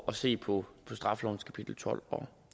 at se på straffelovens kapitel tolv og